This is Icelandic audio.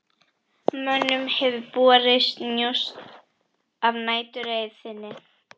Mönnum hefur borist njósn af næturreið þinni, sagði Marteinn.